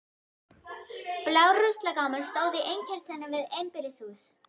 Blár ruslagámur stóð í innkeyrslunni við einbýlishús